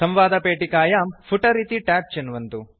संवादपेटिकायां फुटर इति ट्याब् चिन्वन्तु